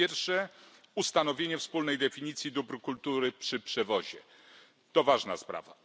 Po pierwsze, ustanowienie wspólnej definicji dóbr kultury przy przewozie to ważna sprawa.